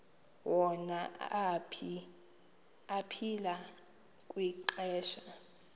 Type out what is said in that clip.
wona aphila kwixesha